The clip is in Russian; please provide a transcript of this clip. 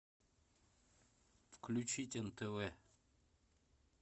включить нтв